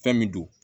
Fɛn min don